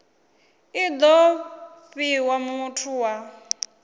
i do fhiwa muthu wa